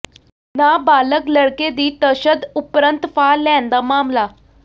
ਨਾਬਾਲਗ ਲੜਕੇ ਦੀ ਤਸ਼ਦਦ ਉਪਰੰਤ ਫਾਹ ਲੈਣ ਦਾ ਮਾਮਲਾ